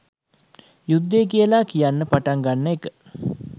යුද්ධය කියලා කියන්න පටන් ගන්න එක.